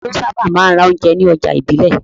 Ta ló sábà máa ń ra oúnjẹ ní ọjà ìbílẹ̀?